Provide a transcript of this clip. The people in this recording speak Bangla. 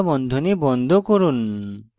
কোঁকড়া বন্ধনী বন্ধ করুন